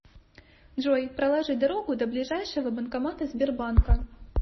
джой проложи дорогу до ближайшего банкомата сбербанка